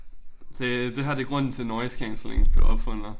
Det det her det grunden til noise cancelling blev opfundet